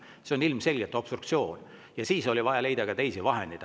See on ilmselgelt obstruktsioon ja siis oli vaja leida teisi vahendeid.